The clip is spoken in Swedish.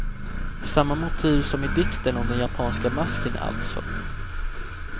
Samma motiv som i dikten om den japanska masken alltså.